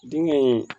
Denkɛ